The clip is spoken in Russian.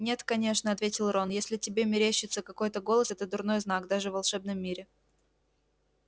нет конечно ответил рон если тебе мерещится какой-то голос это дурной знак даже в волшебном мире